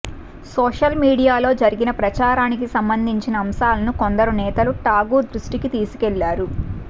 social మీడియాలో జరిగిన ప్రచారానికి సంబంధించిన అంశాలను కొందరు నేతలు ఠాగూర్ దృష్టికి తీసుకెళ్లారు